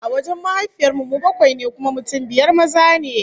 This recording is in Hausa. A wajen mahaifiyar mu, mu bakwai ne, kuma mutum biyar maza ne